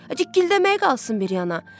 Cik-cikl deməyi qalsın bir yana.